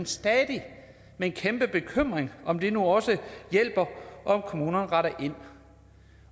stadig har en kæmpe bekymring om det nu også hjælper og om kommunerne retter ind